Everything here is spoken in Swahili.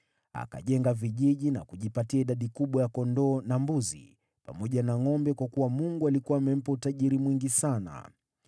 Akajenga vijiji na kujipatia idadi kubwa ya kondoo na mbuzi, pamoja na ngʼombe kwa kuwa Mungu alikuwa amempa utajiri mwingi sana.